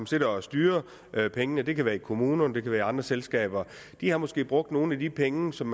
sidder og styrer pengene det kan være i kommunerne eller i andre selskaber har måske brugt nogle af de penge som